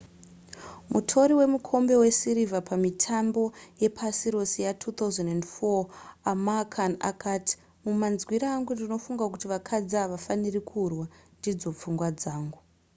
mutori wemukombe wesirivha pamitambo yepasi rose ya2004 amir khan akati mumanzwiro angu ndinofunga kuti vakadzi havafaniri kurwa ndidzo pfungwa dzangu